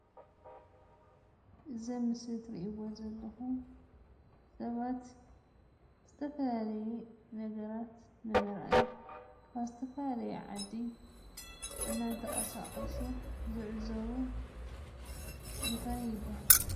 እዚ ኣብ ምስሊ እትሪእዎ ዘለኹም ሰባት ዝተፈላለየ ነገራት ንምርኣይ ካብ ዝተፈላለየ ዓዲ እናተቐሳቐሱ ዝዕዘቡ እንታይ ይብሃል?